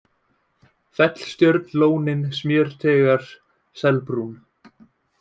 Fellstjörn, Lónin, Smjörteigar, Selbrún